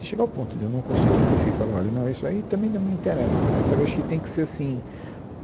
Se chegar ao ponto de eu não conseguir interferir e falar, olha não, isso aí também não me interessa mais, sabe, acho que tem que ser assim.